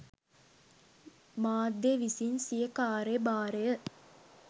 මාධ්‍ය විසින් සිය කාර්ය භාරය